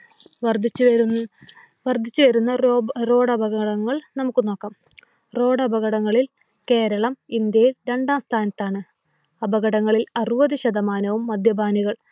വർദ്ധിച്ചു വരുന്ന റോഡ് അപകടങ്ങൾ നമുക്ക് നോക്കാം. റോഡ് അപകടങ്ങളിൽ കേരളം ഇന്ത്യയിൽ രണ്ടാം സ്ഥാനത്താണ്. അപകടങ്ങളിൽ അറുപതു ശതമാനവും മദ്യപാനികൾ.